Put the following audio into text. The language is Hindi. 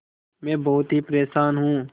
मैं बहुत ही परेशान हूँ